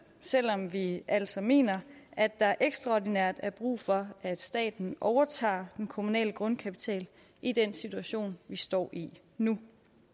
selv om vi altså mener at der ekstraordinært er brug for at staten overtager den kommunale grundkapital i den situation vi står i nu